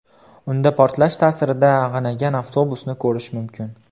Unda portlash ta’sirida ag‘anagan avtobusni ko‘rish mumkin.